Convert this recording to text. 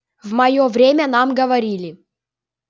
в моё время нам говорили